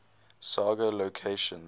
saga locations